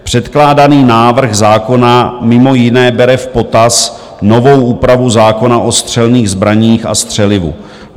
Předkládaný návrh zákona mimo jiné bere v potaz novou úpravu zákona o střelných zbraních a střelivu.